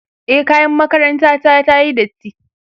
e kayan makaranta ta tayi datti